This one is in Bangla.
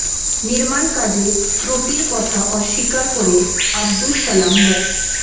নির্মাণ কাজে ত্রুটির কথা অস্বীকার করে আবদুস সালাম মো